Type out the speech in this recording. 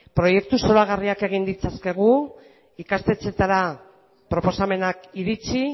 proiektu zoragarriak egin ditzakegu ikastetxeetara proposamenak iritsi